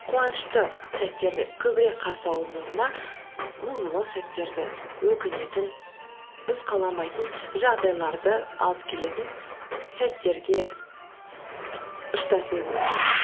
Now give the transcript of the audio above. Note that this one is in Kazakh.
қуанышты сәттерді көбірек қарсы алудың орнына мұңлы сәттерді өкінетін біз қаламайтын жағдайларды алып келетін сәттерге ұштасуы мүмкін